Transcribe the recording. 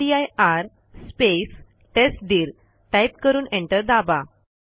रामदीर space टेस्टदीर type करून enter दाबा